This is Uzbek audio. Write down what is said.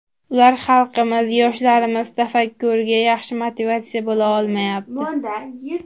Ular xalqimiz, yoshlarimiz tafakkuriga yaxshi motivatsiya bo‘la olmayapti.